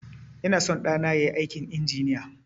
Ina son ɗana yayi aikin injiniya